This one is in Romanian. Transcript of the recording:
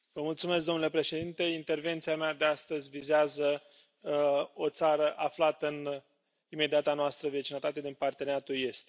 Domnule președinte, intervenția mea de astăzi vizează o țară aflată în imediata noastră vecinătate din Parteneriatul estic.